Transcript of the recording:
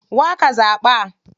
Wa ka zaɓa?